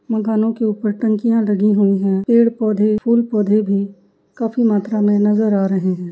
मकानों के ऊपर टंकिया लगी हुयी हैं । पेड़ पौधे फूल पौधे भी काफी मात्रा में नजर आ रहे हैं ।